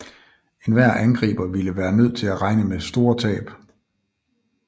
Enhver angriber ville være nødt til at regne med store tab